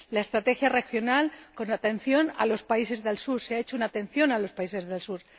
la estrategia regional, con atención a los países del Sur ―se ha prestado atención a los países del Sur―.